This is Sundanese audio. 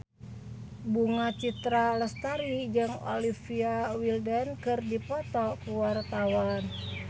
Bunga Citra Lestari jeung Olivia Wilde keur dipoto ku wartawan